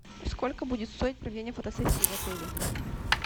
сколько будет стоить проведение фотосессии в отеле